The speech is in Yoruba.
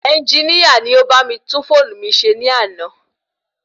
Ẹnginíà ni o bá mi tún fóònu mi se ní àná